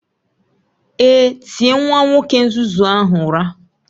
Èé, tie nwa nwoke nzuzu ahụ ụra